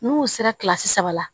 N'u sera kilasi saba la